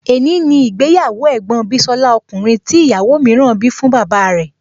È ní ni ìgbéyàwó ẹ̀gbọ́n bísọ́lá ọkùnrin tí ìyàwó mìíràn bí fún bàbá rẹ̀